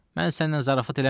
Mən səninlə zarafat eləmirdim.